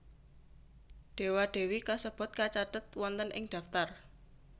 Dewa Dewi kasebut kacathet wonten ing daftar